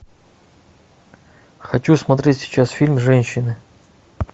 хочу смотреть сейчас фильм женщины